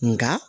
Nka